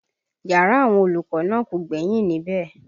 Yàrá àwọn olùkọ́ náà kò gbẹ́yìn níbẹ̀